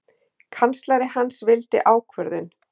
Kanslari hans vildi ákvörðun.